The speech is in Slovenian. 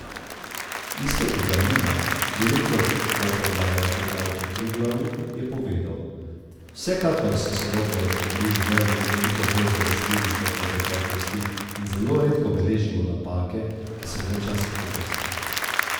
Iztok Galina, direktor poprodaje pri Avto Triglavu, je povedal: 'Vsekakor so sodobni avtomobili veliko bolj zanesljivi kot v preteklosti in zelo redko beležimo napake, ki so bile včasih pogoste.